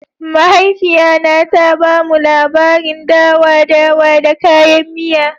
Mahaifiya na ta ba mu labarin dawa-dawa da kayan miya.